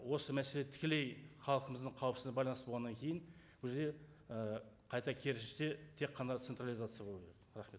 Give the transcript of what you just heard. осы мәселе тікелей халқымыздың қауіпсіздігіне байланысты болғаннан кейін бұл жер ы қайта керісінше тек қана централизация болу керек рахмет